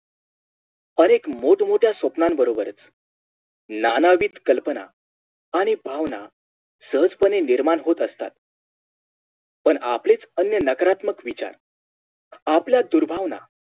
अनेक मोठं मोठ्या स्वप्नांन बरोबरच नानाविध कल्पना आणि भावना सहजपणे निर्माण होत असतात पण आपलेच अन्य नकारत्मक विचार आपल्या दुर्भावना